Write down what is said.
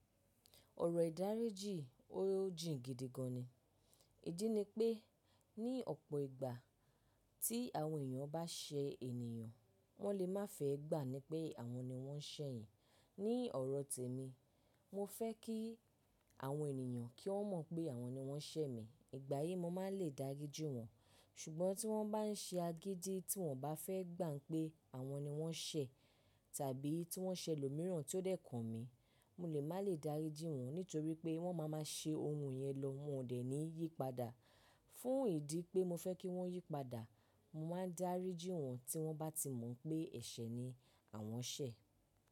Ọ̀rọ̀ ìdáríjì ó jìn gidi gan ni. Ìdí ni pé ní ọ̀pọ̀ ìgbà tí àwọn èèyàn bá ṣe ènìyàn, wọ́n le má fẹ́ gbà ni pé àwọn ni wọ́n ṣẹ̀ yín. Ní ọ̀rọ̀ tèmi, mo fẹ́ kí àwọn ènìyàn kí wọ́n mọ̀ pé àwọn ni wọ́n ṣẹ̀ mi. Ìgbà yí mo máa ń lè dáríjì wọ́n. Ṣùgbọ́n tí wọ́n bá ń ṣe agídí tí wọn ò bá fẹ́ gbà pé àwọn ni wọ́n ṣẹ̀ tàbí tí wọ́n ṣẹ ẹlòmíràn tí ó dẹ̀ kàn mi, mo lè má lè dáríjì wọ́n nítorí pé wọ́n má a ma ṣe ohun yẹn lọ, mọ ò dẹ̀ ní yípadà. Fún ìdí pé mo fẹ́ kí wọ́n yípadà, mo máa ń dáríjì wọ́n tí wọ́n bá ti mọ̀ pé ẹ̀ṣẹ̀ ni àwọn ṣẹ̀.